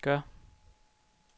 gør